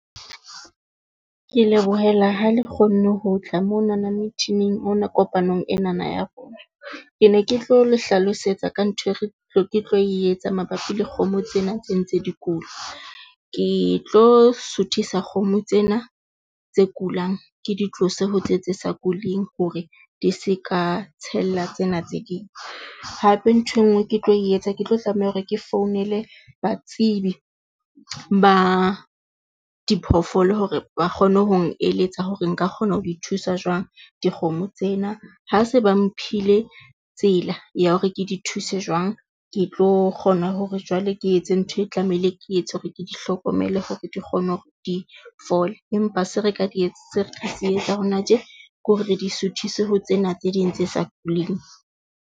Ke lebohela ha le kgonne ho tla monana meet-inig ona kopanong enana ya rona. Ke ne ke tlo le hlalosetsa ka ntho eo re ke tlo e etsa mabapi le kgomo tsena tse ntse di kula. Ke tlo suthisa kgomo tsena tse kulang, ke di tlose ho tse tse sa kuleng hore di se ka tshella tsena tse ding. Hape ntho enngwe ke tlo etsa. Ke tlo tlameha hore ke founele batsebi ba diphoofolo hore ba kgone hong eletsa hore nka kgona ho di thusa jwang dikgomo tsena, ha se ba mphile tsela ya hore ke di thuse jwang. Ke tlo kgona hore jwale ke etse ntho e tlamehile, ke etse hore ke di hlokomele hore di kgone hore di fole, empa se re ka di etsa hona tje ke hore re di suthisa ho tsena tse ding tse sa kuleng.